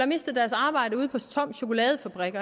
mistet deres arbejde ude på toms chokoladefabrik